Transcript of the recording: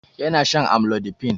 Yana shan amlodipine